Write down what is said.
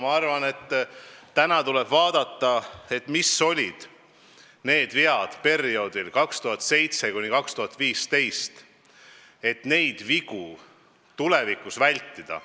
Ma arvan, et täna tuleb vaadata, mis olid need vead perioodil 2007–2015, siis saame samasuguseid vigu tulevikus vältida.